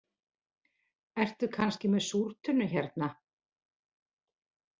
Ertu kannski með súrtunnu hérna